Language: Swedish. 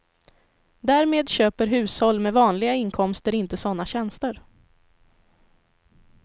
Därmed köper hushåll med vanliga inkomster inte sådana tjänster.